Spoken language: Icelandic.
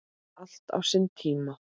Allt á sinn tíma.